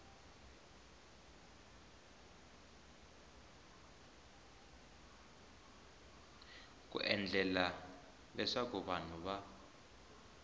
ku endlela leswaku vanhu va